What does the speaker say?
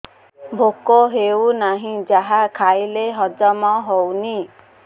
ଭୋକ ହେଉନାହିଁ ଯାହା ଖାଇଲେ ହଜମ ହଉନି